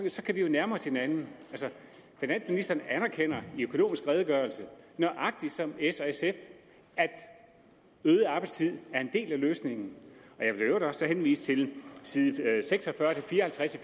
så kan vi jo nærme os hinanden finansministeren anerkender i økonomisk redegørelse nøjagtig som s og sf at øget arbejdstid er en del af løsningen jeg vil i øvrigt også henvise til side seks og fyrre til fire og halvtreds i